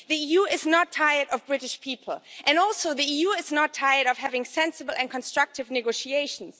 The EU is not tired of British people, and also the EU is not tired of having sensible and constructive negotiations.